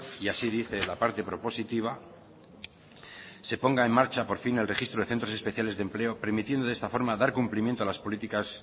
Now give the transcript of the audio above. y así dice la parte propositiva se ponga en marcha por fin el registro de centros especiales de empleo permitiendo de esta forma dar cumplimiento a las políticas